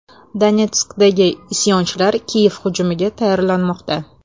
Donetskdagi isyonchilar Kiyev hujumiga tayyorlanmoqda.